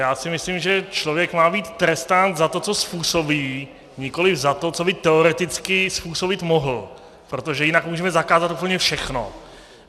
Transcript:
Já si myslím, že člověk má být trestán za to, co způsobí, nikoliv za to, co by teoreticky způsobit mohl, protože jinak můžeme zakázat úplně všechno.